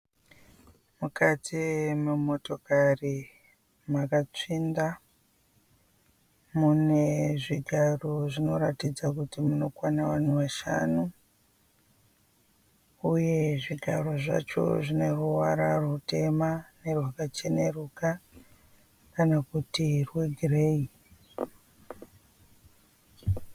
Mukati memotokari makatsvinda. Mune zvigaro zvinoratidza kuti munokwana vanhu vashanhu uye zvigaro zvacho zvine ruvara rutema nerwakacheneruka kana kuti rwegireyi.